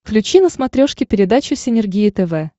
включи на смотрешке передачу синергия тв